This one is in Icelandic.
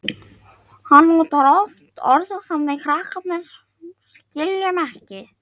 Hann notar oft orð sem við krakkarnir skiljum ekki.